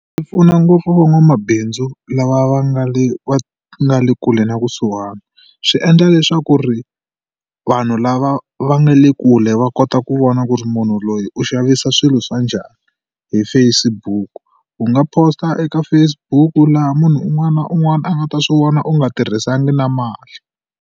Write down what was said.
Swi pfuna ngopfu van'wamabindzu lava va nga le va nga le kule na kusuhana swi endla leswaku ri vanhu lava va nga le kule va kota ku vona ku ku ri munhu loyi u xavisa swilo swa njhani hi Facebook. U nga post-a eka Facebook laha munhu un'wana na un'wana a nga ta swi vona u nga tirhisanga na mali.